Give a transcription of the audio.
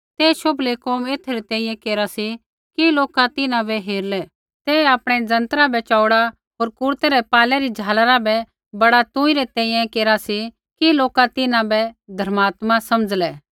ते शोभलै कोम एथै री तैंईंयैं केरा सी कि लोका तिन्हां बै हेरलै ते आपणै जंतरा बै चौऊड़ा होर कुरतै रै पाल्लै री झालरा बै बड़ा तुंई री तैंईंयैं केरा सी कि लोका तिन्हां बै धर्मात्मा समझ़लै